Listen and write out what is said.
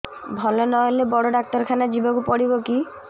ଭଲ ନହେଲେ ବଡ ଡାକ୍ତର ଖାନା ଯିବା କୁ ପଡିବକି